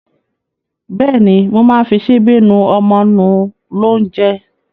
Bẹ́ẹ̀ ni, mo máa ń fi ṣíbí nú ọmọ nú lóúnjẹ.